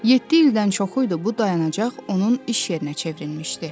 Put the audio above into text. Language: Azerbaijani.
Yeddi ildən çoxuydu bu dayanacaq onun iş yerinə çevrilmişdi.